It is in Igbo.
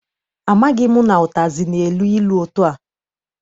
Amaghị m na ụtazị na-elu ilu etua.